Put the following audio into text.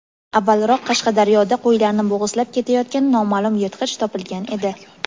avvalroq Qashqadaryoda qo‘ylarni bo‘g‘izlab ketayotgan noma’lum yirtqich topilgan edi.